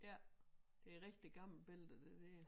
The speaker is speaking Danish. Ja det rigtig gammelt billede det dér